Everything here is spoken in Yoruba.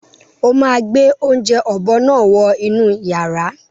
Ó máa gbé oúnjẹ ọ̀bọ náà wọ inú yàrá.